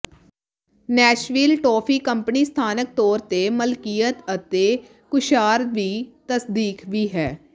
Nashville toffee company ਸਥਾਨਕ ਤੌਰ ਤੇ ਮਲਕੀਅਤ ਹੈ ਅਤੇ ਕੁੱਸ਼ਾਰ ਵੀ ਤਸਦੀਕ ਵੀ ਹੈ